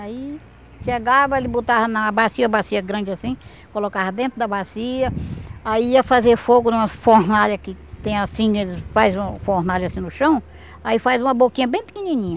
Aí chegava, ele botava na bacia, bacia grande assim, colocava dentro da bacia, aí ia fazer fogo numa fornalha que tem assim, ele faz uma fornalha assim no chão, aí faz uma boquinha bem pequenininha.